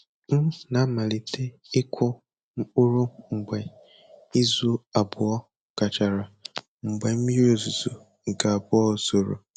M na-amalite ịkụ mkpụrụ mgbe izu abụọ gachara mgbe mmiri ozuzo nke abụọ zoro